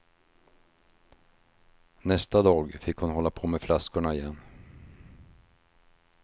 Nästa dag fick hon hålla på med flaskorna igen.